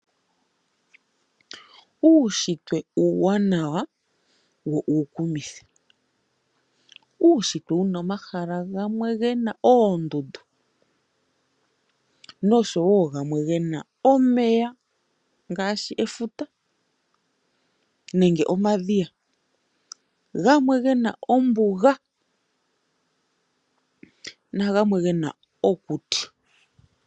Uushitwe uuwanawa wo uukumithi, uushitwe wuna omahala gamwe gena oondundu, omeya ngaashi efuta nenge omadhiya, gamwe gena ombuga na gwamwe gena okuti.